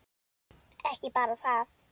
Ekki bara það.